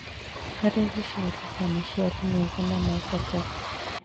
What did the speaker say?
Harĩ gũciarithia maciaro mega na ma bata,